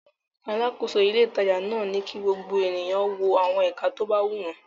Alákòóso ilé-ìtajà náà ni kí gbogbo ènìyàn wo àwọn ẹ̀ka tó bá wù wọ́n.